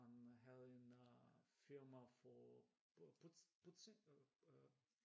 Der kom jeg den fyr ham havde en firma for pudsning?